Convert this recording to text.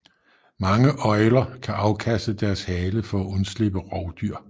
Mange øgler kan afkaste deres hale for at undslippe rovdyr